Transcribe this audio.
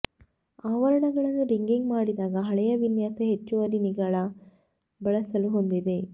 ಆವರಣಗಳನ್ನು rigging ಮಾಡಿದಾಗ ಹಳೆಯ ವಿನ್ಯಾಸ ಹೆಚ್ಚುವರಿ ನಿಗಳ ಬಳಸಲು ಹೊಂದಿದೆ